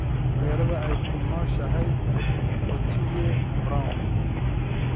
Magaaladee ayay ku nooshahay otile brown?